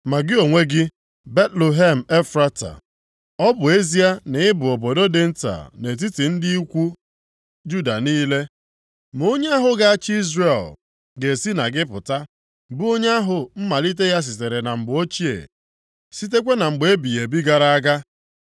“Ma gị onwe gị, Betlehem Efrata, ọ bụ ezie na ị bụ obodo dị nta nʼetiti ndị ikwu Juda niile, ma onye ahụ ga-achị Izrel ga-esi na gị pụta, bụ onye ahụ mmalite ya sitere na mgbe ochie, sitekwa na mgbe ebighị ebi gara aga.”